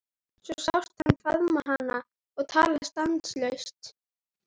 Svo sást hann faðma hana og tala stanslaust.